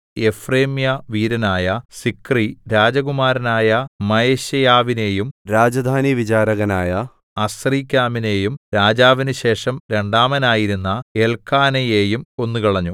എഫ്രയീമ്യവീരനായ Zichri രാജകുമാരനായ മയശേയാവിനെയും രാജധാനിവിചാരകനായ അസ്രീക്കാമിനെയും രാജാവിനു ശേഷം രണ്ടാമനായിരുന്ന എല്ക്കാനയെയും കൊന്നുകളഞ്ഞു